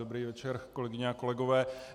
Dobrý večer, kolegyně a kolegové.